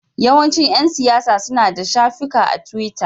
Yawancin ƴan siyasa suna da shafukan a tiwita.